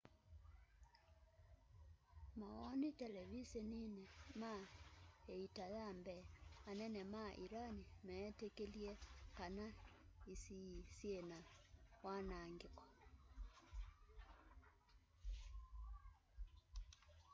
mawoni televiseniini mai iita ya mbee anene ma iran meetikilie kana isii syina wanaangiko